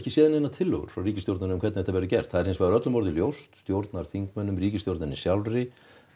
séð neinar tillögur frá ríkisstjórninni hvernig þetta verður gert stjórnarþingmönnum ríkisstjórninni sjálfri